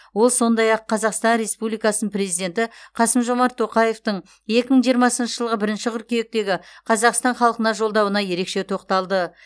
ол сондай ақ қазақстан республикасының президенті қасым жомарт тоқаевтың екі мың жиырмасыншы жылғы бірінші қыркүйектегі қазақстан халқына жолдауына ерекше тоқталды